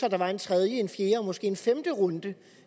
at der var en tredje en fjerde og måske en femte runde